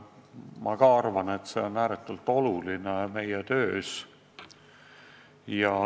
Ma ka arvan, et see on meie töös ääretult oluline.